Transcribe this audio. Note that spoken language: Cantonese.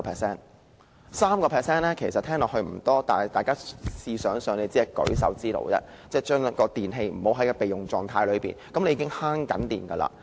雖然 3% 聽起來不多，但大家試想想，把處於備用狀態的電器關閉，只是舉手之勞，已可節省用電。